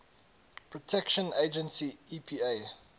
protection agency epa